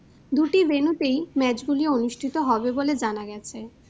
দুটি venue তেই match গুলি অনুষ্ঠিত হবে বলে জানা গেছে।